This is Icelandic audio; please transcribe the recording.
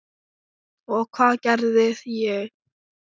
Og hvað gerði ég?